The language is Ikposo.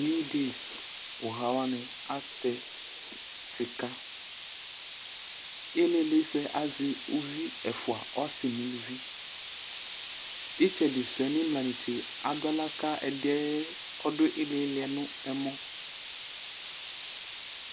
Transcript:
Newdays uha waŋi atɛ sika Ìlí ìlí sʋɛ azɛ ʋvi ɛfʋa ɔsi ŋu ʋlʋvi Itsɛɖi sʋɛ ŋu imla netse aɖu aɣla kʋ ɛɖìɛ kʋ ìlí ìlí sʋɛ ŋu ɛmɔ